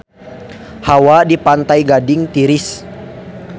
Hawa di Pantai Gading tiris